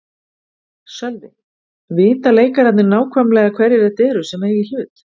Sölvi: Vita leikararnir nákvæmlega hverjir þetta eru sem eiga í hlut?